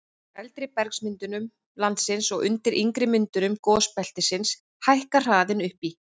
eldri bergmyndunum landsins og undir yngri myndunum gosbeltisins hækkar hraðinn upp í